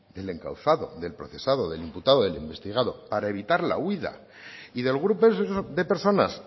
del encausado del procesado del imputado del investigado para evitar la huida y del grupo de personas